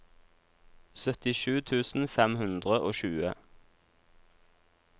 syttisju tusen fem hundre og tjue